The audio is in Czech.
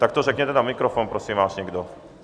Tak to řekněte na mikrofon, prosím vás, někdo.